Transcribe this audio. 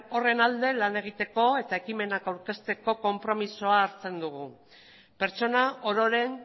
horren alde lan egiteko eta ekimenak aurkezteko konpromezua hartzen dugu pertsona ororen